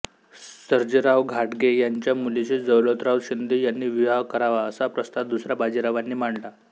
सर्जेराव घाटगे यांच्या मुलीशी दौलतराव शिंदे यांनी विवाह करावा असा प्रस्ताव दुसऱ्या बाजीरावांनी मांडला